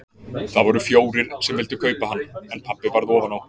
Það voru fjórir sem vildu kaupa hann en pabbi varð ofan á.